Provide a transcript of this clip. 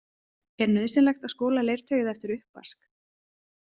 Er nauðsynlegt að skola leirtauið eftir uppvask?